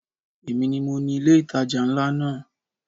Èmi ni mo ni ilé ìtajà ńlá náà.